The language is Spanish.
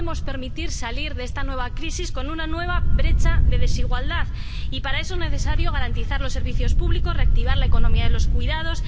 No podemos permitir salir de esta nueva crisis con una nueva brecha de desigualdad, y para eso es necesario garantizar los servicios públicos, reactivar la economía de los cuidados